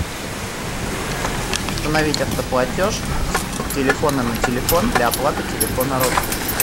установить автоплатеж с телефона на телефон для оплаты телефона родственника